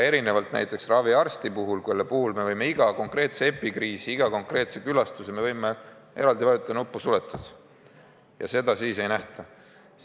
Näiteks raviarstide puhul me võime iga konkreetse epikriisi puhul konkreetsete külastuste jaoks eraldi vajutada nuppu "Suletud" ja seda siis ei nähta.